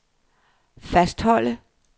fastholde